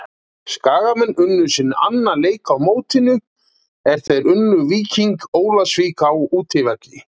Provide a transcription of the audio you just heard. Skagamenn unnu sinn annan leik á mótinu er þeir unnu Víking Ólafsvík á útivelli.